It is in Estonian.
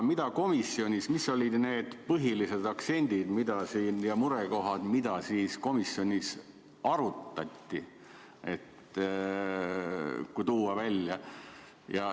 Ent mis olid komisjonis need põhilised aktsendid ja murekohad, mida võiks välja tuua?